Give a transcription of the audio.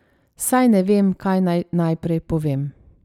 Saj ne vem, kaj naj najprej povem.